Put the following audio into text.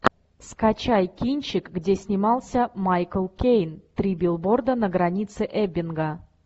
скачай кинчик где снимался майкл кейн три билборда на границе эббинга